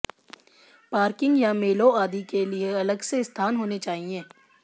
parking या मेलों आदि के लिए अलग से स्थान होने चाहिएं